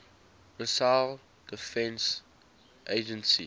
missile defense agency